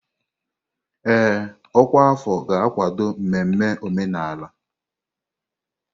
Ee, ọkwa afọ ga-akwado mmemme omenala.